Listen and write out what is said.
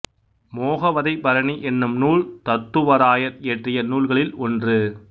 மோகவதைப் பரணி என்னும் நூல் தத்துவராயர் இயற்றிய நூல்களில் ஒன்று